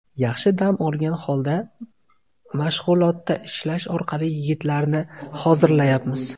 Yaxshi dam olgan holda, mashg‘ulotda ishlash orqali yigitlarni hozirlayapmiz.